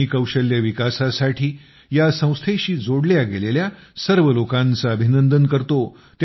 मी कौशल्य विकासासाठी या संस्थेशी जोडल्या गेलेल्या सर्व लोकांचं अभिंनंदन करतो